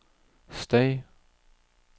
støy